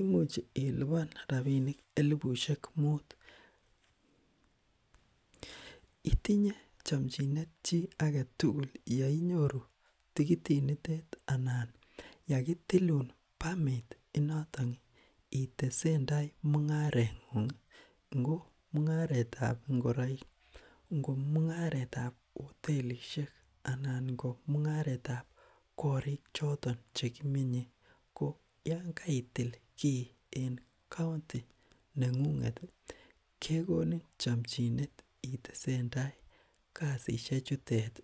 imuch iliban elibusiek taman ak aeng , itinye yei nyoru yakitiluun noton mung'aret ng'ung aretab ingoriet anan mung'aretab hotelisiek anan mung'aretab koirk choton cheki cheki menye. Yekai til kii en county ih kekonin chamchinet itesendai kasisiek chutet